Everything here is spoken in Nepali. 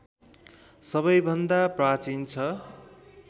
सबैभन्दा प्राचीन छ